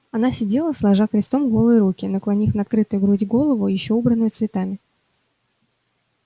она сидела сложа крестом голые руки наклонив на открытую грудь голову ещё убранную цветами